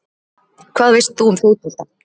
Hvað veist þú um fótbolta?